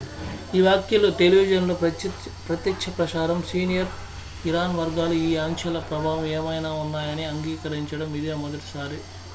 ఈ వ్యాఖ్యలు టెలివిజన్ లో ప్రత్యక్షప్రసారం సీనియర్ ఇరాన్ వర్గాలు ఈ ఆంక్షల ప్రభావం ఏమైనా ఉన్నాయని అంగీకరించడం ఇదే మొదటిసారి